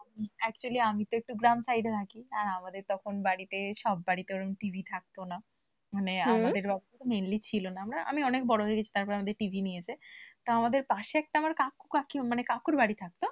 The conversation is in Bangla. Actually আমি তো একটু গ্রাম side এ থাকি আমাদের তখন বাড়িতে সব বাড়িতে ওরকম TV থাকতো না মানে আমাদের অবস্থা mainly ছিল না। আমি অনেক বড় হয়ে গেছি তারপর আমাদের TV নিয়েছে তো আমাদের পাশে একটা কাকু কাকিমা। কাকুর বাড়ি থাকতো।